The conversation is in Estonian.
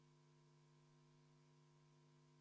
Muudatusettepaneku poolt on 16 Riigikogu liiget, vastu 59.